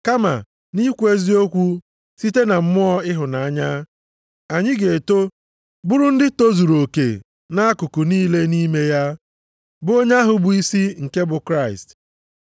Kama nʼikwu eziokwu site na mmụọ ịhụnanya, anyị ga-eto bụrụ ndị tozuru oke nʼakụkụ niile nʼime ya, bụ onye ahụ bụ isi, nke bụ Kraịst.